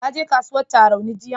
Ka je kasuwar Tarauni jiyan?